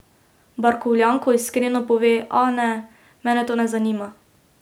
Barkovljanko, iskreno pove: 'Ah, ne, mene to ne zanima.